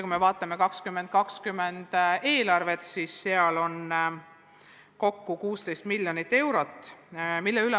Kui me vaatame 2020. aasta eelarvet, siis näeme, et seal on selleks raha 16 miljonit eurot enam.